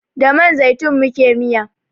Da man zaitun muke miya